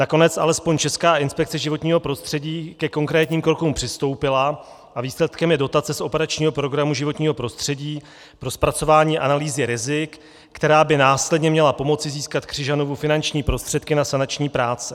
Nakonec alespoň Česká inspekce životního prostředí ke konkrétním krokům přistoupila a výsledkem je dotace z operačního programu Životní prostředí pro zpracování analýzy rizik, která by následně měla pomoci získat Křižanovu finanční prostředky na sanační práce.